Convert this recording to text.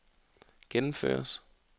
gennemføres